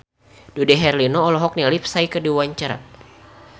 Dude Herlino olohok ningali Psy keur diwawancara